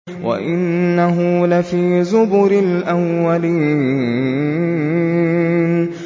وَإِنَّهُ لَفِي زُبُرِ الْأَوَّلِينَ